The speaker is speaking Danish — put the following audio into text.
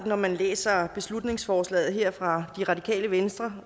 når man læser beslutningsforslaget her fra det radikale venstre